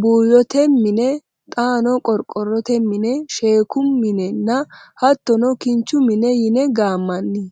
buuyyote mine xaano qorqorrote mine sheekku minenna hattono kinchu mine yine gaammanni.